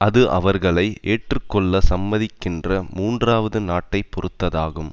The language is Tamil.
அது அவர்களை ஏற்று கொள்ள சம்மதிக்கின்ற மூன்றாவது நாட்டை பொறுத்ததாகும்